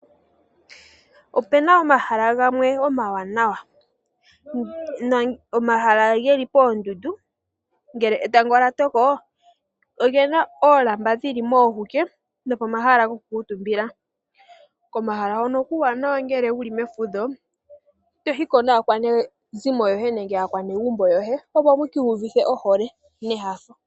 Opuna omahala gawme omawanawa. Omahala geli poondundu, ngele etango lyatoko opuna oolamba dhili moohuke, nopomahala gokukuutumbila. Komahala hono okuuwanawa ngele wuli mefudho toyiko naakwanezimo yoye nenge aakwanegumbo yoye opo mukiiyuvithe ohole nenyanyu.